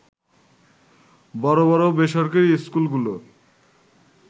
বড় বড় বেসরকারি স্কুলগুলো